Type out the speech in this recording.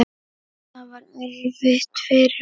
Það var erfitt fyrir mig.